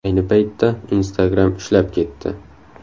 Ayni paytda Instagram ishlab ketdi.